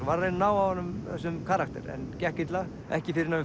var að reyna að ná af honum þessum karakter en gekk illa ekki fyrr en